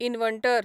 inverter